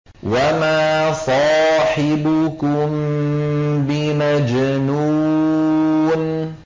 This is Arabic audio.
وَمَا صَاحِبُكُم بِمَجْنُونٍ